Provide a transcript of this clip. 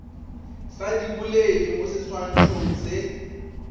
sa diboledi mo seswantšhong se